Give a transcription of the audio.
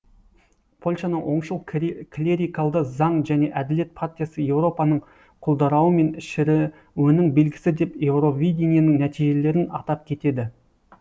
польшаның оңшыл клерикалды заң және әділет партиясы еуропаның құлдаруы мен шіріуіның белгісі деп еуровиденің нәтежиелерін атап кетеді